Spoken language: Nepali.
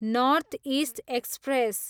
north east express